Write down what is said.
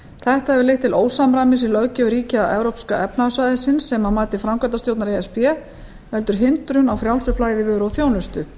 þetta hefur leitt til ósamræmis í löggjöf ríkja evrópska efnahagssvæðisins sem að mati framkvæmdastjórnar e s b veldur hindrun á frjálsu flæði vöru og þjónustu